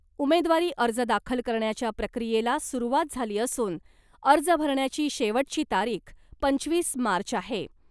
उमेदवारी अर्ज दाखल करण्याच्या प्रक्रियेला सुरुवात झाली असून अर्ज भरण्याची शेवटची तारीख पंचवीस मार्च आहे .